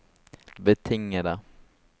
betingede